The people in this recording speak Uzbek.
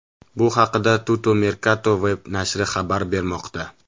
Bu haqida Tuttomercatoweb nashri xabar bermoqda .